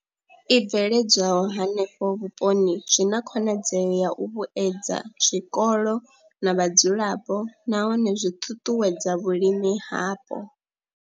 I bveledzwaho henefho vhuponi zwi na khonadzeo ya u vhuedza zwikolo na vhadzulapo nahone zwi ṱuṱuwedza vhulimi hapo.